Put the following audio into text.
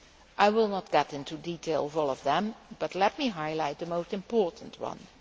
I will not go into detail on all of them, but let me highlight the most important ones.